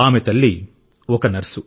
ఆమె తల్లి ఒక నర్సు